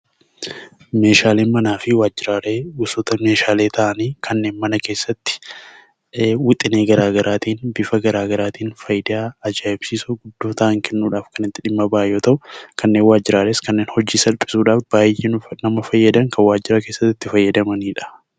Meeshaaleen manaa fi Waanjiraalee gosoota meeshaalee ta'anii kanneen mana keessatti wixinee garaa garaatiin, bifa garaa garaatiin faayidaa ajaa'ibsiisoo hedduu kennuudhaaf kan itti dhimma ba'an yammuu ta'uu; kanneen waajjiraalee, kan hojii salphisuuf baayyee kan nama fayyadan kan mana keesssatti itti fayyadamaniidha.